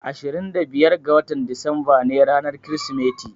Ashirin da biyar ga watan Disamba ne ranar Kirsimeti.